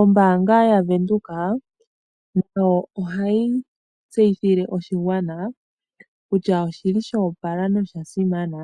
Ombaanga yavenduka ohayi tseyithile oshigwana kutya oshili shoopala nosha simana